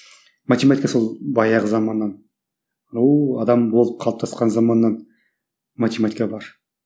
математика сол баяғы заманнан оу адам болып қалыптасқан заманнан математика бар